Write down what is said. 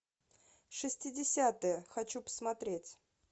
шестидесятые хочу посмотреть